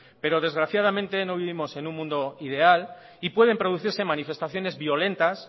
pero desgraciadamente no vivimos en un mundo ideal y pueden producirse manifestaciones violentas